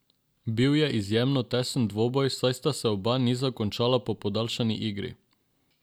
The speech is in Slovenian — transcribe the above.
Bil je izjemno tesen dvoboj, saj sta se oba niza končala po podaljšani igri.